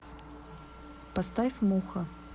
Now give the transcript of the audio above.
поставь муха